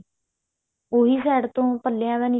ਉਹੀ side ਤੋਂ ਪੱਲਿਆਂ ਦਾ